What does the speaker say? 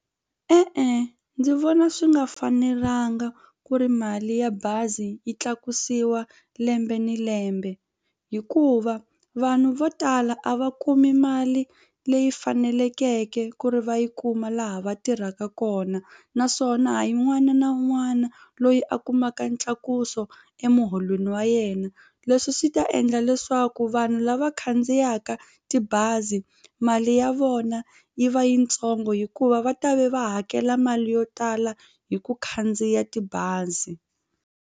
E-e ndzi vona swi nga fanelanga ku ri mali ya bazi yi tlakusiwa lembe ni lembe hikuva vanhu vo tala a va kumi mali leyi fanelekeke ku ri va yi kuma laha va tirhaka kona naswona ha yi un'wana na un'wana loyi a kumaka ntlakuso emuholweni wa yena leswi swi ta endla leswaku vanhu lava khandziyaka tibazi mali ya vona yi va yitsongo hikuva va ta ve va hakela mali yo tala hi ku khandziya tibazi.